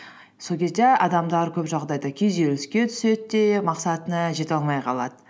сол кезде адамдар көп жағдайда күйзеліске түседі де мақсатына жете алмай қалады